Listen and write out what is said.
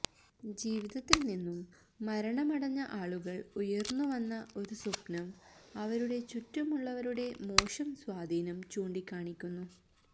ജീവിതത്തിൽ നിന്നും മരണമടഞ്ഞ ആളുകൾ ഉയർന്നുവന്ന ഒരു സ്വപ്നം അവരുടെ ചുറ്റുമുള്ളവരുടെ മോശം സ്വാധീനം ചൂണ്ടിക്കാണിക്കുന്നു